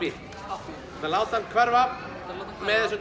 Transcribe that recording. láta það hverfa með þessum